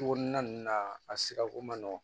Cogo na ninnu na a sirako man nɔgɔn